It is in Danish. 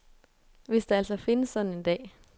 Hvis der altså findes sådan en dag.